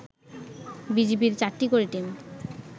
বিজিবির ৪টি করে টিম